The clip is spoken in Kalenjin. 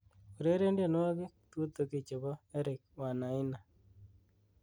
ureren tienwogik tutugi chebo eric wanaina